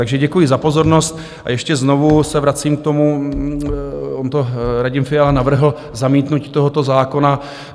Takže děkuji za pozornost a ještě znovu se vracím k tomu, on to Radim Fiala navrhl, zamítnutí tohoto zákona.